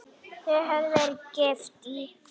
Þau höfðu verið gift í